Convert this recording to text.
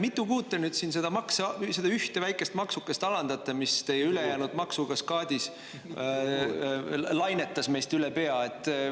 Mitu kuud te nüüd siin seda ühte väikest maksukest alandate, mis teie ülejäänud maksukaskaadis lainetas meist üle pea?